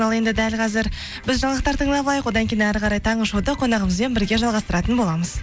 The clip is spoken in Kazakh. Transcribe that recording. ал енді дәл қазір біз жаңалықтар тыңдап алайық одан кейін әрі қарай таңғы шоуды қонағымызбен бірге жалғастыратын боламыз